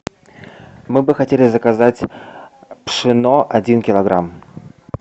мы бы хотели заказать пшено один килограмм